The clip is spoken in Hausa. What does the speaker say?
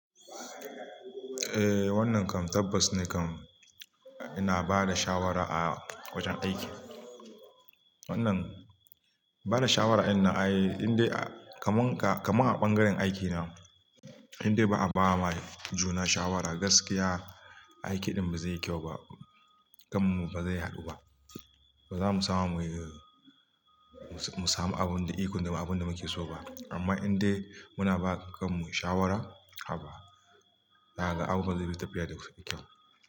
Eh, wannan kam tabbas na kam ina bada shawara a wajen aiki. Wannan bada shawara ɗinnan ayi indai kaman ka, kaman a ɓangaren aikina indai ba'a bawa juna shawara gaskiya, aiki ɗin ba zai yi kyau ba. Kan mu ba zai haɗu ba, ba za mu samu mu yi, mu samu abunda ikun da abunda muke so ba. Amma indai muna bawa kanmu shawara, haba, abun zai fi tafiya da kyau.